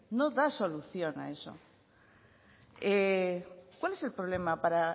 no da solución a eso cuál es el problema para